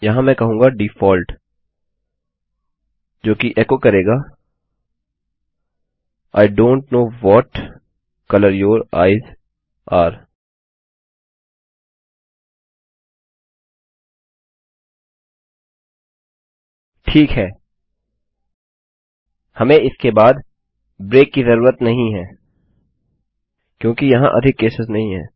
यहाँ मैं कहूँगा डिफॉल्ट जो कि एचो करेगा I don't know what colour your eyes are ठीक हैहमें इसके बाद ब्रेक की जरूरत नहीं है क्योंकि वहाँ अधिक केसेस नहीं हैं